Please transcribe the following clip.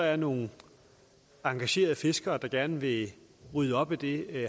er nogle engagerede fiskere der gerne vil rydde op i det